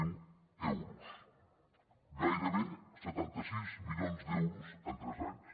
zero euros gairebé setanta sis milions d’euros en tres anys